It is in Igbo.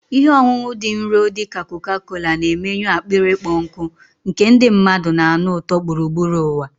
Ihe ọṅụṅụ dị nro dị ka Coca-Cola na-emenyụ akpịrị ịkpọ nkụ, nke ndị mmadụ na-anụ ụtọ gburugburu ụwa.